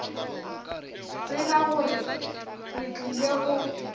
tseba gore re tlile go